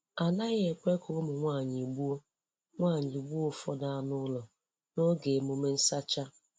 A naghị ekwe ka ụmụ nwanyị gbuo nwanyị gbuo ụfọdụ anụ ụlọ n'oge emume nsacha.